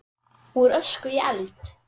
Úr ösku í eld?